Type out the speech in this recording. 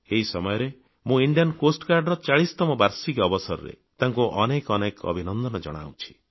ଏହି ସମୟରେ ମୁଁ ଭାରତୀୟ ତଟରକ୍ଷୀ ବାହିନୀର 40ତମ ବାର୍ଷିକୀ ଅବସରରେ ତାଙ୍କୁ ଅନେକ ଅନେକ ଅଭିନନ୍ଦନ ଜଣାଉଛି